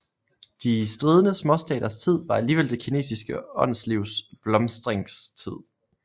De stridende småstaters tid var alligevel det kinesiske åndslivs blomstringstid